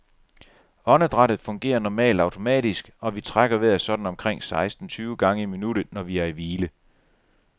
Åndedrættet fungerer normalt automatisk, og vi trækker vejret sådan omkring seksten tyve gange i minuttet, når vi er i hvile.